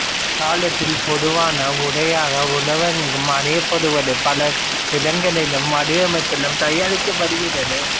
தற்காலத்தில் பொதுவான உடையாக உலகங்கும் அணியப்படுவது பல நிறங்களிலும் வடிவமைப்பிலும் தயாரிக்கப்படுகிறது